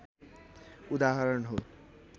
उदाहरण हो